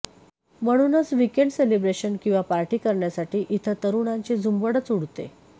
म्हणूनच weekend celebration किंवा party करण्यासाठी इथं तरुणांची झुंबडच उडते